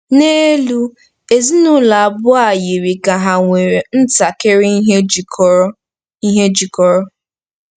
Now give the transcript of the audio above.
N'elu, ezinụlọ abụọ a yiri ka ha nwere ntakịrị ihe jikọrọ ihe jikọrọ.